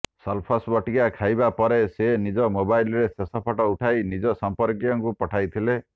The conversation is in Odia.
ସଲଫସ୍ ବଟିକା ଖାଇବା ପରେ ସେ ନିଜ ମୋବାଇଲରେ ଶେଷ ଫଟୋ ଉଠାଇ ନିଜ ସମ୍ପର୍କୀୟଙ୍କୁ ପଠାଇଥିଲେ